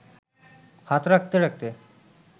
হাত রাখতে রাখতে